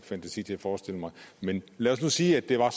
fantasi til at forestille mig men lad os nu sige at det var